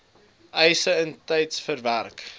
eise intyds verwerk